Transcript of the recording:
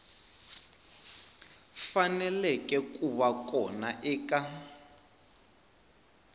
faneleke ku va kona eka